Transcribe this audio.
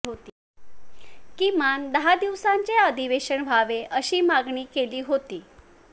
किमान दहा दिवसांचे अधिवेशन व्हावे अशी मागणी केली होती